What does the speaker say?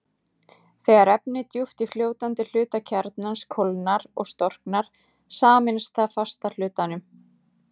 Þegar efni djúpt í fljótandi hluta kjarnans kólnar og storknar, sameinast það fasta hlutanum.